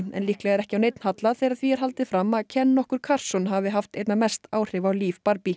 en líklega ekki á neinn hallað þegar því er haldið fram að Ken nokkur hafi haft einna mest áhrif á líf